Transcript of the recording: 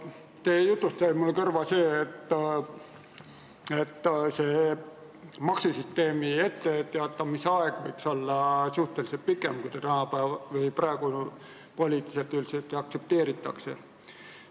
Teie jutust jäi mulle kõrva, et maksusüsteemi muudatustest etteteatamise aeg võiks olla pikem, kui praegu poliitiliselt aktsepteeritakse.